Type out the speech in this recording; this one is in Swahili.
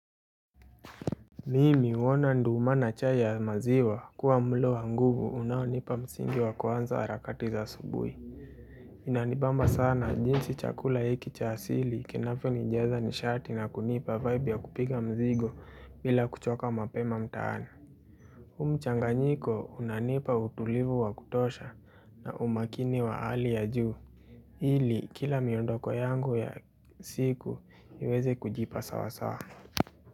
Mimi huona nduuma na chai ya maziwa kuwa mlo wa nguvu unaonipa msingi wa kwanza harakati za asubuhi. Inanibamba sana jinsi chakula hiki cha asili kinavyonijaza nishati na kunipa vaibu ya kupiga mzigo bila kuchoka mapema mtaani. Huu mchanganyiko unanipa utulivu wa kutosha na umakini wa hali ya juu. Ili kila miondoko yangu ya siku niweze kujipa sawasawa.